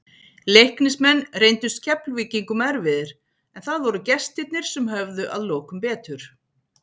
Leiknismenn reyndust Keflvíkingum erfiðir, en það voru gestirnir sem höfðu að lokum betur.